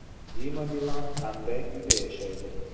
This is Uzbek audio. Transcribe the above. Dima Bilan qanday uyda yashaydi?